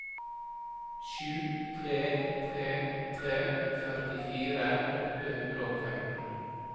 sju tre tre tre førtifire åtte hundre og femten